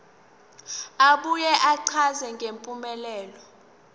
abuye achaze ngempumelelo